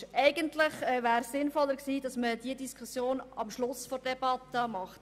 Es wäre eigentlich sinnvoller gewesen, diese Diskussion am Ende der Debatte zu führen.